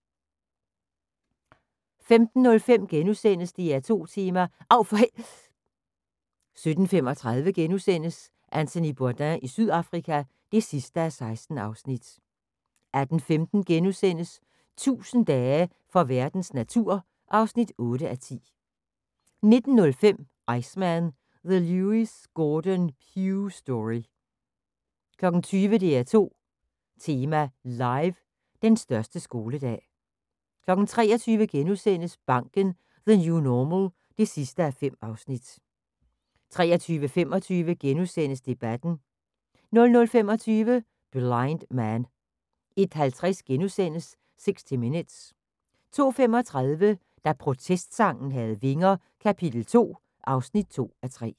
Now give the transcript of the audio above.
15:05: DR2 Tema: Av for h......! * 17:35: Anthony Bourdain i Sydafrika (16:16)* 18:15: 1000 dage for verdens natur (8:10)* 19:05: Iceman – The Lewis Gordon Pugh Story 20:00: DR2 Tema Live: Den største skoledag 23:00: Banken – New normal (5:5)* 23:25: Debatten * 00:25: Blind Man 01:50: 60 Minutes * 02:35: Da protestsangen havde vinger - kap. 2 (2:3)